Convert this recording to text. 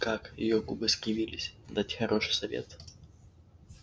как её губы скривились дать хороший совет